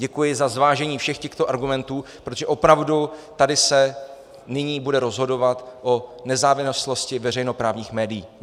Děkuji za zvážení všech těchto argumentů, protože opravdu tady se nyní bude rozhodovat o nezávislosti veřejnoprávních médií.